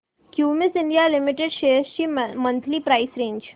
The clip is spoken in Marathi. क्युमिंस इंडिया लिमिटेड शेअर्स ची मंथली प्राइस रेंज